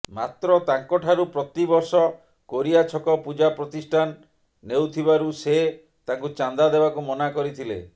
ମାତ୍ର ତାଙ୍କଠାରୁ ପ୍ରତିବର୍ଷ କୋରିଆଁ ଛକ ପୂଜା ପ୍ରତିଷ୍ଟାନ ନେଉଥିବାରୁ ସେ ତାଙ୍କୁ ଚାନ୍ଦା ଦେବାକୁ ମନା କରିଥିଲେ